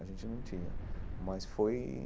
A gente não tinha mas foi.